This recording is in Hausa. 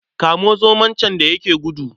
Kamo zomo can da ya yake gudu.